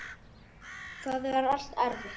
Það er alltaf erfitt.